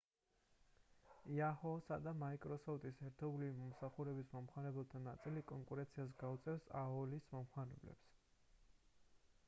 yahoo!-ს და microsoft-ის ერთობლივი მომსახურებების მომხმარებელთა ნაწილი კონკურენციას გაუწევს aol-ის მომხმარებლებს